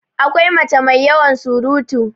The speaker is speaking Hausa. akwai mace mai yawan surutu